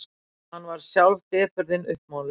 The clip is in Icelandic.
Hann varð sjálf depurðin uppmáluð.